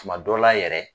Tuma dɔ la yɛrɛ